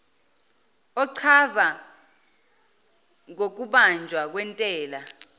ochaza ngokubanjwa kwentela